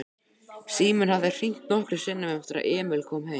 Síminn hafði hringt nokkrum sinnum eftir að Emil kom heim.